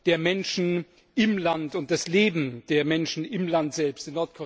der Menschen im Land und das Leben der Menschen im Land selbst.